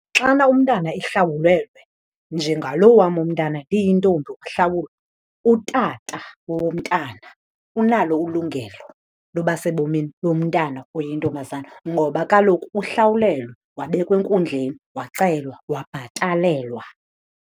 Xana umntana ehlawulelwe, njengalo wam umntana iyintombi wahlawulwa, utata womntana unalo ulungelo loba sebomini bomntana oyintombazana ngoba kaloku uhlawulelwe, wabekwa enkundleni, wacelwa wabhatalelwa.